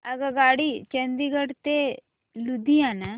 आगगाडी चंदिगड ते लुधियाना